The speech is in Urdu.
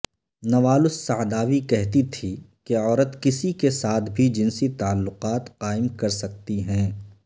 نوال السعداوی کہتی تھی کہ عورت کسی کے ساتھ بھی جنسی تعلقات قائم کرسکتی ہیں